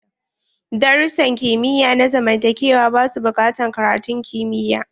Darussan kimiyya na zamantakewa ba su bukatan karatun kimiyya.